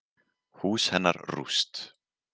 Hús hennar rúst.